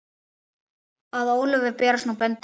Að Ólöfu berast nú böndin.